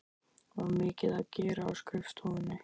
Var mikið að gera á skrifstofunni?